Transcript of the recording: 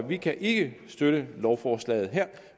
vi kan ikke støtte lovforslaget her